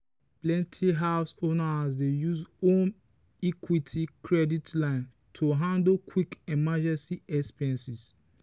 plenty house owners dey use home equity credit line to handle quick emergency expenses.